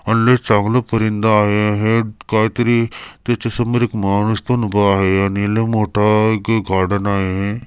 अन लय चांगलं परिन्दा आहे हे काहीतरी त्याच्या समोर एक माणूस पण उभा आहे आणि लय मोठा एक गार्डन आहे.